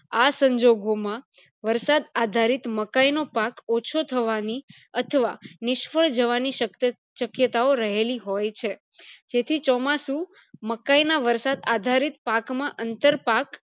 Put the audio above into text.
આ સંજોગો માં વરસાદ આધારિત મકાય નો પાક ઓછો થવાની અથવા નિષ્ફળ જવાની શક્યતાઓ રહેલી હોય છે જેથી ચોમાસું મકાય ના વરસાદ આધારે પાક માં અંતર પાક